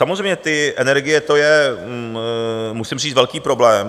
Samozřejmě ty energie, to je, musím říct velký problém.